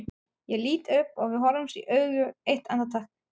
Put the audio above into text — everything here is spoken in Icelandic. Ég lít upp og við horfumst í augu eitt andartak.